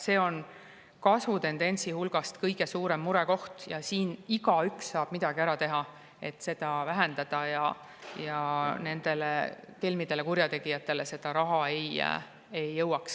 See on kasvutendentsi juures kõige suurem murekoht ja siin saab igaüks midagi ära teha, et seda vähendada ning et kelmidele ja kurjategijatele see raha ei jõuaks.